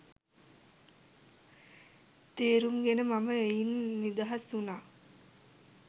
තේරුම් ගෙන මම එයින් නිදහස් වුනා